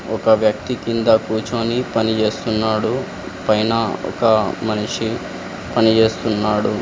ఒక వ్యక్తి కింద కూర్చొని పని చేస్తున్నాడు పైన ఒక మనిషి పని చేస్తున్నాడు.